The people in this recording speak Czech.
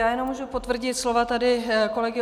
Já jenom můžu potvrdit slova tady kolegy